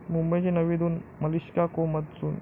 मुंबईची नवी धून, 'मलिष्का को मत सुन'!